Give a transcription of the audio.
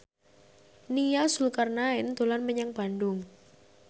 Nia Zulkarnaen dolan menyang Bandung